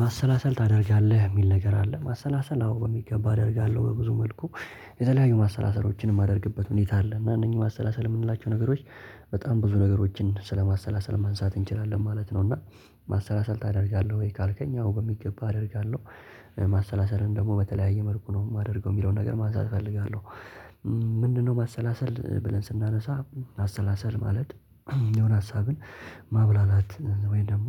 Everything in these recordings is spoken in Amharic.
ማሰላሰል ታደርጋለህ የሚል ነገር አለ ማሰላሰል አዎ በሚገባ አደርጋለሁ በብዙ መልኩ የተለያዩ ማሰላሰሎችን የማደርግበት ሁኔታ አለ እና እነኚህ ማሰላሰል የምንላቸው ነገሮች። በጣም ብዙ ነገሮችን ስለማሰላሰል ማንሳት እንችላለን ማለት ነው። እና ማሰላሰል ታደርጋለህ ወይ? ካልከኝ አዎ በሚገባ አደርጋለሁ። ማሰላሰልን ደግሞ በተለያየ መልኩ ነው የማደርገው የሚለውን ነገር ማንሳት እፈልጋለሁ። ምንድነው ማሰላሰል ብለን ስናነሳ ማሰላሰል ማለት የሆነ ሀሳብን ማብላላት ወይም ደግሞ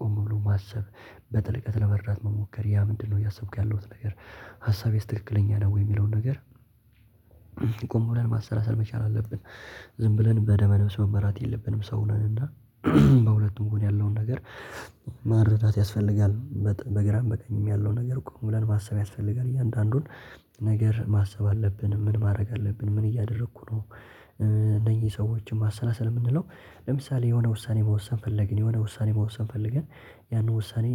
ቆም ብሎ ማሰብ። በጥልቀት ለመረዳት መሞከር ያ ምንድነው እያሰብኩ ያለውት ነገር ሀሳቤስ ትክክለኛ ነው ወይ የሚለውን ነገር? ቆም ብለን ማሰላሰል መቻል አለብን። ዝም ብለን በደመ ነብስ መመራት የለብንም። ሰው ነን እና በሁለቱም ጎን ያለውን ነገር መረዳት ያስፈልጋል። በግራም በቀኝም ያለው ነገር ቆም ብለን ማሰብ ያስፈልጋል። እያንዳንዱን ነገር ማሰብ አለብን ምን ማድረግ አለብን ምን እያደረኩ ነው? እነዚህ ሰዎችን ማሰላሰል የምንለው ለምሳሌ የሆነ ውሳኔ መወሰን ፈለግን የሆነ ውሳኔ መወሰን ፈለገን ያንን ውሳኔ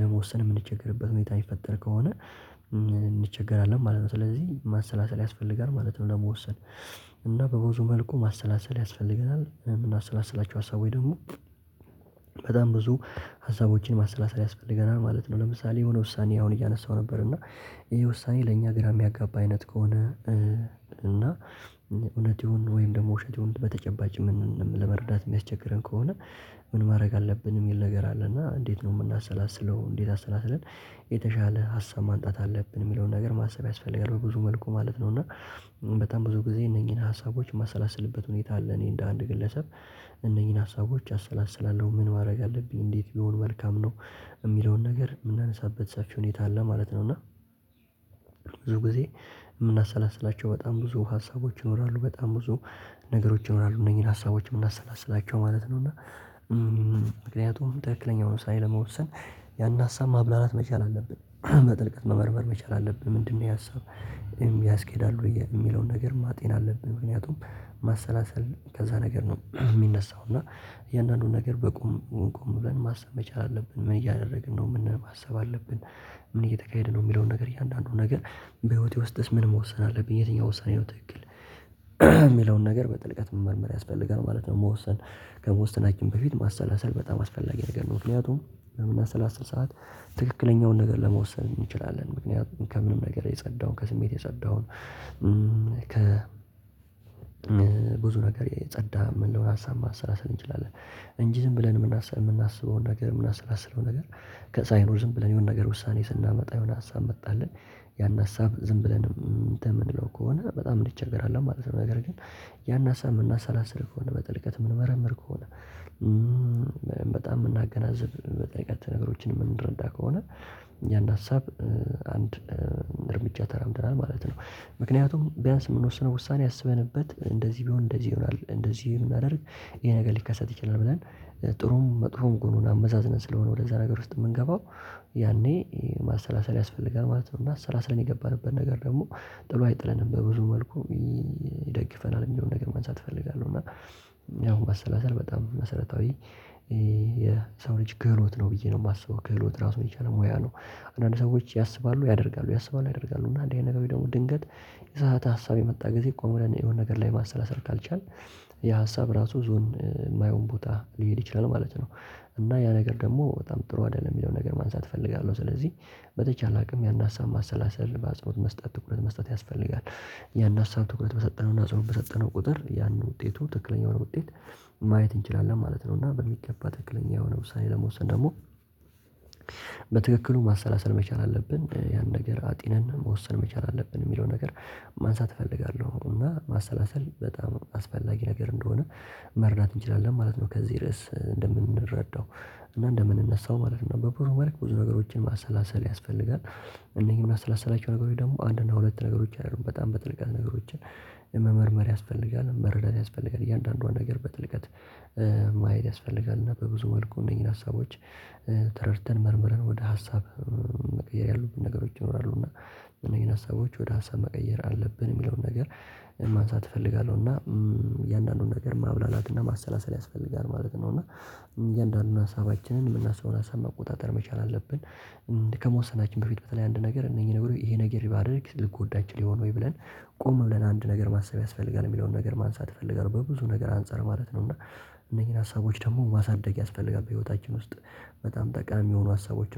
ለመወሰን የምንቸገርበት ሁኔታ ሚፈጠር ከሆነ እንቸገራለን ማለት ነው ስለዚህ ማሰላሰል ያስፈልጋል ማለት ነው። ለመወሰን እና በብዙ መልኩ ማሰላሰል ያስፈልጋል እና ምናሰላስላቸው ሀሳቦች ደግሞ በጣም ብዙ ሀሳቦችን ማሰላሰል ያስፈልገናል ማለት ነው። ለምሳሌ የሆነ ውሳኔ አሁን እያነሳሁ ነበር እና ይሄ ውሳኔ ለእኛ ግራ የሚያጋባ አይነት ከሆነ እና እውነት ይሁን ወይም ደግሞ ውሸት ይሁን በተጨባጭ ምን ለመረዳት የሚያስቸግረን ከሆነ ምን ማድረግ አለብን የሚል ነገር አለ። እና እንዴት ነው የምናሰላስለው እንዴት አሰላስለን? የተሻለ ሀሳብ ማንጣት አለብን የሚለውን ነገር ማሰብ ያስፈልጋል በብዙ መልኩ ማለት ነው። እና በጣም ብዙ ጊዜ እነኚህን ሀሳቦች የማሰላስልበት ሁኔታ አለ። እኔ እንደ አንድ ግለሰብ እነኚህን ሀሳቦች አሰላስላለሁ ምን ማድረግ አለብኝ እንዴት ቢሆን መልካም ነው? የሚለውን ነገር የምናነሳበት ሰፊ ሁኔታ አለ ማለት ነው። እና ብዙ ጊዜ የምናሰላስላቸው በጣም ብዙ ሀሳቦች ይኖራሉ በጣም ብዙ ነገሮች ይኖራሉ እነዚህን ሀሳቦች የምናሰላስላቸው ማለት ነው። እና ምክንያቱም ትክክለኛውን ውሳኔ ለመወሰን ያንን ሀሳብ ማብላላት መቻል አለብን በጥልቀት መመርመር መቻል አለብን። ምንድነው ይሄ ሀሳብ? ያስኬዳል ወይ ብዬ የሚለውን ነገር ማጤን አለብን። ምክንያቱም ማሰላሰል ከዛ ነገር ነው የሚነሳው። እና እያንዳንዱን ነገር በቁም ቆም ብለን ማሰብ መቻል አለብን። ምን እያደረግን ነው ማሰብ አለብን። ምን እየተካሄደ ነው? የሚለውን ነገር እያንዳንዱን ነገር በህይወቴ ውስጥስ ምን መወሰን አለብኝ የትኛው ወሳኝ ነው ትክክል የሚለውን ነገር በጥልቀት መመርመር ያስፈልጋል። ማለት ነው መወሰን ከመወሰናችን በፊት ማሰላሰል በጣም አስፈላጊ ነገር ነው። ምክንያቱም ምናሰላስል ሰዓት ትክክለኛውን ነገር ለመወሰን እንችላለን ምክንያቱም ከምንም ነገር የጸዳውን ከስሜት የጸዳውን ከ ብዙ ነገር የጸዳ የምንለውን ሀሳብ ማሰላሰል እንችላለን። እንጂ ዝም ብለን የምናስበውን ነገር የምናሰላስለውን ነገር ከ ሳይኖር ዝም ብለን የሆነ ነገር ውሳኔ ስናመጣ የሆነ ሀሳብ መጣልን ያን ሀሳብ ዝም ብለን እንትን የምንለው ከሆነ በጣም እንቸገራለን ማለት ነው። ነገር ግን ያን ሀሳብ የምናሰላስል ከሆነ በጥልቀት የምንመረምር ከሆነ። በጣም የምናገናዝብ በጥልቀት ነገሮችን የምንረዳ ከሆነ ያን ሀሳብ አንድ እርምጃ ተራምደናል ማለት ነው። ምክንያቱም ቢያንስ የምንወስነው ውሳኔ አስበንበት እንደዚህ ቢሆን እንደዚህ ይሆናል እንደዚህ ብናደርግ ይሄ ነገር ሊከሰት ይችላል ብለን ጥሩም መጥፎም ጎኑን አመዛዝነን ስለሆነ ወደዛ ነገር ውስጥ የምንገባው ያኔ ማሰላሰል ያስፈልጋል። ማለት ነው እና አሰላስለን የገባንበት ነገር ደግሞ ጥሎ አይጥለንም በብዙ መልኩ ይደግፈናል የሚለውን ነገር ማንሳት እፈልጋለሁ። እና ያው ማሰለሰል በጣም መሰረታዊ የሰው ልጅ ክህሎት ነው ብዬ ነው የማስበው ክህሎት ራሱን የቻለ ሙያ ነው። አንዳንድ ሰዎች ያስባሉ ያደርጋሉ ያስባሉ ያደርጋሉ እና እንደዚህ አይነት ነገሮች ደግሞ ድንገት የተሳሳተ ሀሳብ የመጣ ጊዜ ቆም ብለን የሆነ ነገር ላይ ማሰላሰር ካልቻልን የሀሳብ ራሱ ይዞን የማይሆን ቦታ ሊሄድ ይችላል ማለት ነው። እና ያ ነገር ደግሞ በጣም ጥሩ አይደለም የሚለውን ነገር ማንሳት እፈልጋለሁ። ስለዚህ በተቻለ አቅም ያን ሀሳብ ማሰላሰል በአጽኖት መስጠት ትኩረት መስጠት ያስፈልጋል። ያን ሀሳብ ትኩረት በሰጠነው እና አጽኖት በሰጠነው ቁጥር ያንን ውጤቱ ትክክለኛ ውጤት ማየት እንችላለን ማለት ነው። እና በሚገባ ትክክለኛ የሆነ ውሳኔ ለመወሰን ደግሞ በትክክሉ ማሰላሰል መቻል አለብን ያን ነገር አጢነን መወሰን መቻል አለብን የሚለውን ነገር ማንሳት እፈልጋለሁ። እና ማሰላሰል በጣም አስፈላጊ ነገር እንደሆነ መረዳት እንችላለን ማለት ነው። ከዚህ ርዕስ እንደምንረዳው እና እንደምንነሳው ማለት ነው። በብዙ መልክ ብዙ ነገሮችን ማሰላሰል ያስፈልጋል። እነዚህን የምናሰላስላቸው ነገሮች ደግሞ አንድ እና ሁለት ነገሮች አይደሉም በጣም በጥልቀት ነገሮችን መመርመር ያስፈልጋል። መረዳት ያስፈልጋል እያንዳንዷን ነገር በጥልቀት ማየት ያስፈልጋል። እና በብዙ መልኩ እነኚህን ሀሳቦች ተረድተን መርምረን ወደ ሀሳብ መቀየር ያሉብን ነገሮች ይኖራሉ። እና እነዚህን ሀሳቦች ወደ ሀሳብ መቀየር አለብን የሚለውን ነገር ማንሳት እፈልጋለሁ። እና እያንዳንዱን ነገር ማብላላት እና ማሰላሰል ያስፈልጋል ማለት ነው። እና እያንዳንዱን ሀሳባችንን የምናስበውን ሀሳብ መቆጣጠር መቻል አለብን። ከመወሰናችን በፊት በተለይ አንድ ነገር እነኚህ ነገሮች ይሄ ነገር ባደርግ ልጎዳ እችል ይሆን ወይ ብለን? ቆም ብለን አንድ ነገር ማሰብ ያስፈልጋል የሚለውን ነገር ማንሳት እፈልጋለሁ። በብዙ ነገር አንፃር ማለት ነው። እና እነኚህን ሀሳቦች ደግሞ ማሳደግ ያስፈልጋል በህይወታችን ውስጥ በጣም ጠቃሚ የሆኑ ሀሳቦች